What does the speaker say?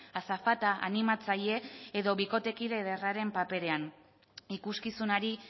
azafata animatzaile edo bikotekide ederraren paperean ikuskizunari